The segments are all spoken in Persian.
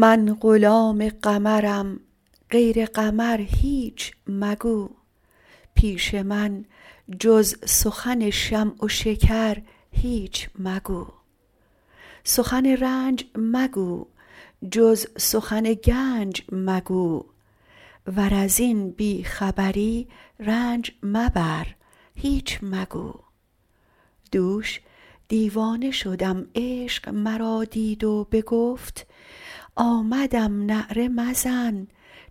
من غلام قمرم غیر قمر هیچ مگو پیش من جز سخن شمع و شکر هیچ مگو سخن رنج مگو جز سخن گنج مگو ور از این بی خبری رنج مبر هیچ مگو دوش دیوانه شدم عشق مرا دید و بگفت آمدم نعره مزن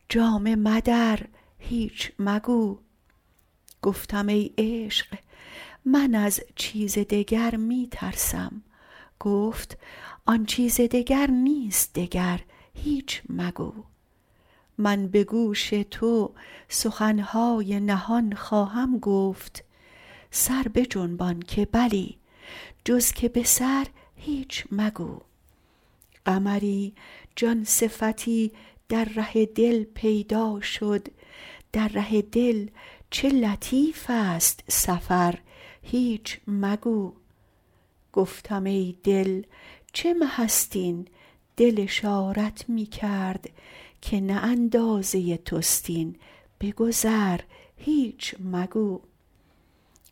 جامه مدر هیچ مگو گفتم ای عشق من از چیز دگر می ترسم گفت آن چیز دگر نیست دگر هیچ مگو من به گوش تو سخن های نهان خواهم گفت سر بجنبان که بلی جز که به سر هیچ مگو قمری جان صفتی در ره دل پیدا شد در ره دل چه لطیف ست سفر هیچ مگو گفتم ای دل چه مه ست این دل اشارت می کرد که نه اندازه توست این بگذر هیچ مگو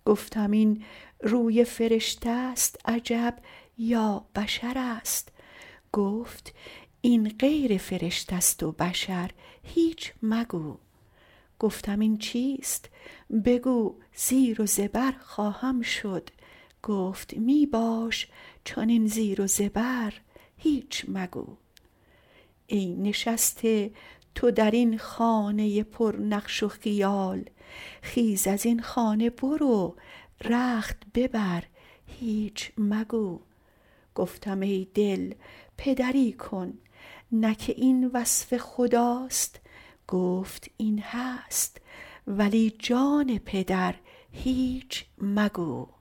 گفتم این روی فرشته ست عجب یا بشرست گفت این غیر فرشته ست و بشر هیچ مگو گفتم این چیست بگو زیر و زبر خواهم شد گفت می باش چنین زیر و زبر هیچ مگو ای نشسته تو در این خانه پرنقش و خیال خیز از این خانه برو رخت ببر هیچ مگو گفتم ای دل پدری کن نه که این وصف خداست گفت این هست ولی جان پدر هیچ مگو